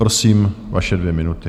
Prosím, vaše dvě minuty.